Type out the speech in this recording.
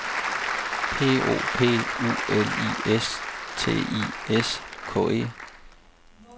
P O P U L I S T I S K E